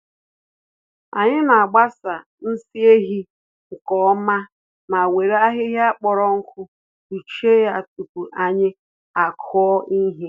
Anyị n’agbasa nsị ehi nke ọma ma were ahịhịa kpọrọ nkụ kpuchie ya tupu anyị akụ ihe.